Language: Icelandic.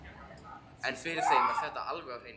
En fyrir þeim var þetta alveg á hreinu.